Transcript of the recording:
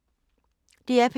DR P2